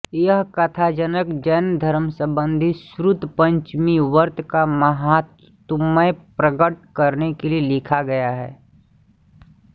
यह कथानक जैनधर्म संबंधी श्रुत पंचमीव्रत का माहात्म्य प्रकट करने के लिए लिखा गया है